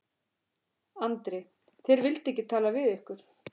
Andri: Þeir vildu ekki tala við ykkur?